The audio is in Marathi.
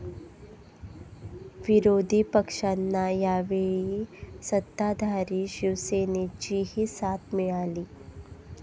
विरोधी पक्षांना यावेळी सत्ताधारी शिवसेनेचीही साथ मिळाली.